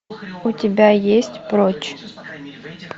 у тебя есть прочь